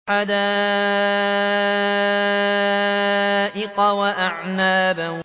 حَدَائِقَ وَأَعْنَابًا